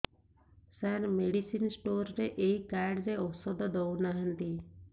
ସାର medicine store ରେ ଏଇ card ରେ ଔଷଧ ଦଉନାହାନ୍ତି